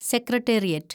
secretariat